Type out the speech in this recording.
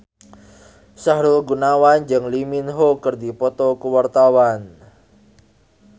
Sahrul Gunawan jeung Lee Min Ho keur dipoto ku wartawan